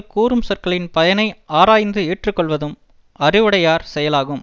கூறும் சொற்களின் பயனை ஆராய்ந்து ஏற்று கொள்வதும் அறிவுடையார் செயலாகும்